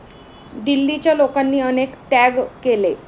दिल्लीच्या लोकांनी अनेक त्याग केले.